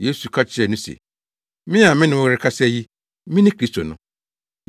Yesu ka kyerɛɛ no se, “Me a me ne wo rekasa yi, mene Kristo no.”